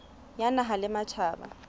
ya naha le ya matjhaba